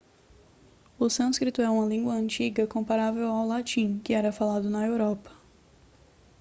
o sânscrito é uma língua antiga comparável ao latim que era falado na europa